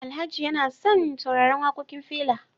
Alhaji yana son sauraran wakokin Fela